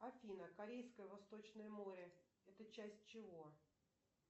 афина корейское восточное море это часть чего